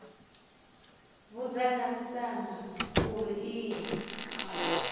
vhudza khasitama uri i ye